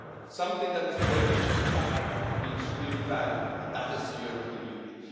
Something that is breakable and fragile can be extremely valuable, and that is the European Union.